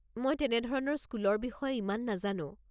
মই তেনেধৰণৰ স্কুলৰ বিষয়ে ইমান নাজানো।